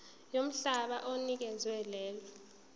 yomhlaba onikezwe lelo